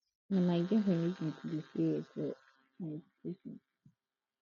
na my girlfriend make me to be serious for my education